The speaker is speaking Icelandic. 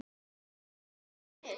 Það grunaði mig.